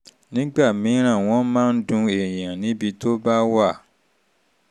nígbà mìíràn wọ́n máa ń dun èèyàn níbi tó bá wà